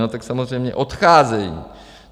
No, tak samozřejmě odcházejí.